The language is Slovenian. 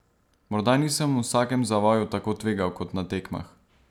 Morda nisem v vsakem zavoju tako tvegal kot na tekmah.